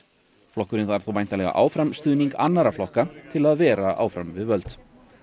flokkurinn þarf þó væntanlega áfram stuðning annarra flokka til að vera áfram við völd